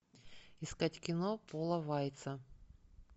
искать кино пола вайца